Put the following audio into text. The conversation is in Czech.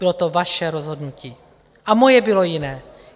Bylo to vaše rozhodnutí a moje bylo jiné.